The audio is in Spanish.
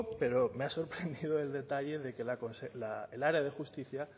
pero me ha sorprendido el detalle de que el área de justicia